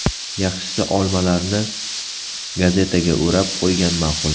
Yaxshisi olmalarni gazetaga o‘rab qo‘ygan ma’qul.